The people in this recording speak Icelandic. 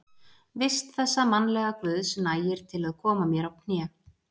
vist þessa mannlega guðs, nægir til að koma mér á kné.